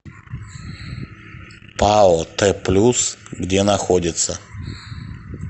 пао т плюс где находится